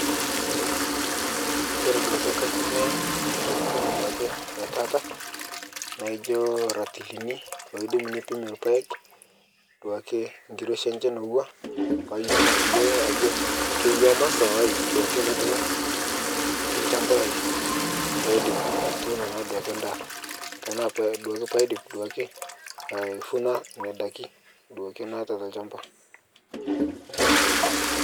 Kore duake kaitumia ntokitin duake etaa naijio irantilini loidim nepim irpayek duake nkiroshi enye enewua paatum atayiolo ajo kewuaa masaa duake latumo tolchamba lai paaidip atuuno naa endaa. Tana paadip aifuna nena daiki duake naata olchamba